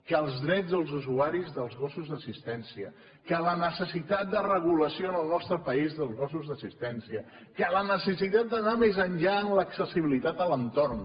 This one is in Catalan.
que els drets dels usuaris dels gossos d’assistència que la necessitat de regulació en el nostre país dels gossos d’assistència que la necessitat d’anar més enllà en l’accessibilitat a l’entorn